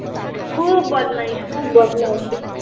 খুব বদমাইস খুব বদমাইস